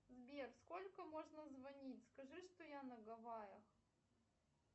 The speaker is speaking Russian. сбер сколько можно звонить скажи что я на гаваях